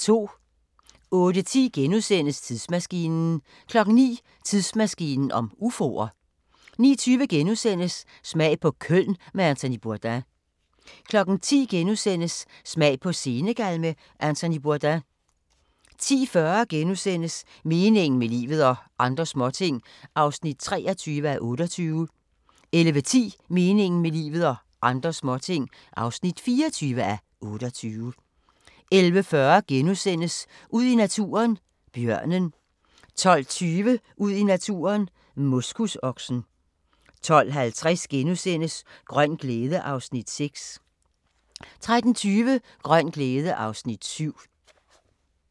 08:10: Tidsmaskinen * 09:00: Tidsmaskinen om ufoer 09:20: Smag på Köln med Anthony Bourdain * 10:00: Smag på Senegal med Anthony Bourdain * 10:40: Meningen med livet – og andre småting (23:28)* 11:10: Meningen med livet – og andre småting (24:28) 11:40: Ud i naturen: Bjørnen * 12:20: Ud i naturen: Moskusoksen 12:50: Grøn glæde (Afs. 6)* 13:20: Grøn glæde (Afs. 7)